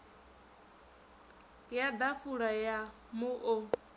ya ḓafula ya mu o